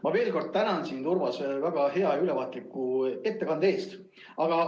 Ma veel kord tänan sind, Urmas, väga hea ülevaatliku ettekande eest!